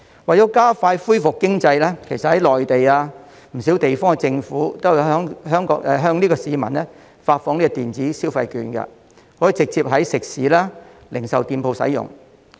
為了加快恢復經濟，其實在內地及不少地方政府都有向市民發放電子消費券，直接在食肆及零售店使用。